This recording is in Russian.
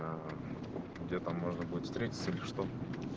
а где там можно будет встретиться или что